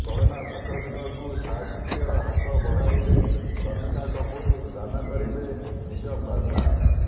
corona ସଂକ୍ରମିତଙ୍କୁ ସାହାଯ୍ୟର ହାତ ବଢ଼ାଇଲେ କନିକା କପୁର ଦାନ କରିବେ ନିଜ ପ୍ଲାଜମା